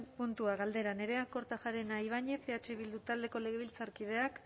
puntua galdera nerea kortajarena ibañez eh bildu taldeko legebiltzarkideak